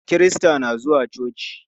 Kirista na zuwa coci.